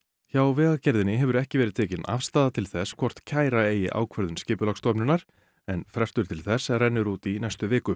hjá Vegagerðinni hefur ekki verið tekin afstaða til þess hvort kæra eigi ákvörðun Skipulagsstofnunar en frestur til þess rennur út í næstu viku